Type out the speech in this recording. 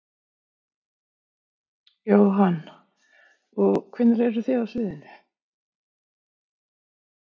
Jóhann: Og hvenær eruð þið á sviðinu?